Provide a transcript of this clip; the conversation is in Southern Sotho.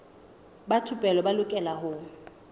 ba thupelo ba lokela ho